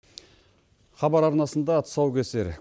хабар арнасында тұсаукесер